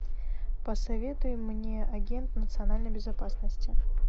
посоветуй мне агент национальной безопасности